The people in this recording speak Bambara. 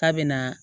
K'a bɛ na